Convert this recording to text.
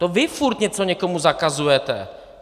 To vy pořád něco někomu zakazujete.